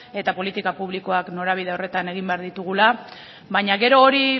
eta politika publikoak norabide horretan egin behar ditugula baina gero hori